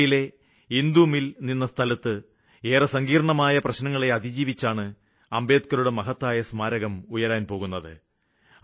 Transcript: മുംബൈയിലെ ഇന്ദു മില് നിലനിന്ന സ്ഥലത്ത് ഏറെ സങ്കീര്ണമായ പ്രശ്നങ്ങളെ അതിജീവിച്ചാണ് അംബേദ്ക്കറുടെ മഹത്തായ സ്മാരകം ഉയരാന് പോകുന്നത്